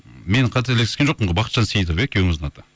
мен қателескен жоқпын ғой бахытжан сейітов иә күйеуіңіздің аты